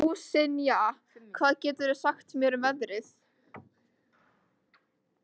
Ásynja, hvað geturðu sagt mér um veðrið?